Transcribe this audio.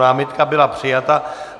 Námitka byla přijata.